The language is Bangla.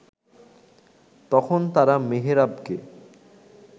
তখন তারা মেহেরাবকে